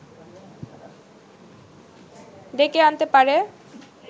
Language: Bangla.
ডেকে আনতে পারে